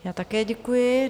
Já také děkuji.